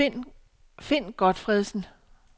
Finn Gotfredsen